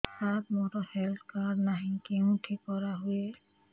ସାର ମୋର health card ନାହିଁ କେଉଁଠି କରା ହୁଏ